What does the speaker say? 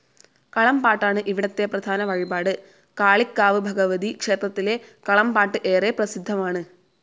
കളംപാട്ടാണ് ഇവിടത്തെ പ്രധാന വഴിപാട്. കാളികാവ് ഭഗവതി ക്ഷേത്രത്തിലെ കളംപാട്ട് ഏറെ പ്രസിദ്ധമാണ്.